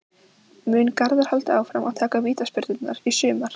Mun Garðar halda áfram að taka vítaspyrnurnar í sumar?